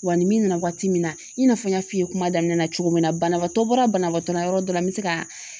Wa ni min nana waati min na i n'a fɔ n y'a f'i ye kuma daminɛn na cogo min na banabaatɔ bɔra banabaatɔ la yɔrɔ dɔ la n bɛ se ka